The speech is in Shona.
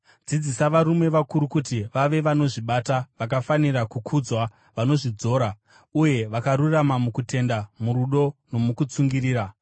Dzidzisa varume vakuru kuti vave vanozvibata, vakafanira kukudzwa, vanozvidzora, uye vakarurama mukutenda, murudo nomukutsungirira.